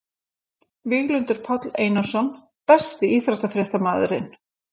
Víglundur Páll Einarsson Besti íþróttafréttamaðurinn?